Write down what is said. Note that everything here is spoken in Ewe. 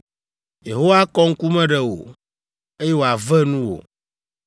Yehowa akɔ ŋkume ɖe wò, eye wòave nuwò!